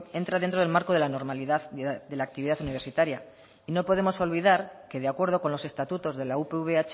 entra dentro del marco de la normalidad de la actividad universitaria y no podemos olvidar que de acuerdo con los estatutos de la upv